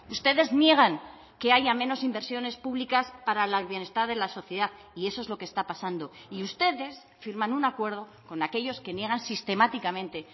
ustedes niegan que haya menos inversiones públicas para el bienestar de la sociedad y eso es lo que está pasando y ustedes firman un acuerdo con aquellos que niegan sistemáticamente